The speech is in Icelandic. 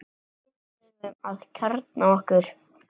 Við þurfum að kjarna okkur